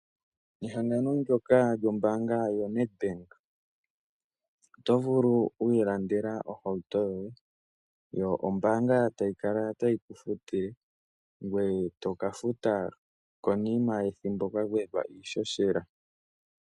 Nehangano ndyoka lyombaanga yo Nedbank oto vulu oku ilandela ohauto yoye, yo ombaanga ta yi kala tayi kufutile ngoye to ka futa konima yethimbo kwa gwedhwa iishoshela.